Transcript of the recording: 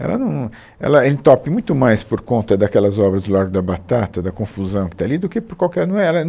Ela não, ela entope muito mais por conta daquelas obras do Largo da Batata, da confusão que está ali, do que por qualquer, não é ela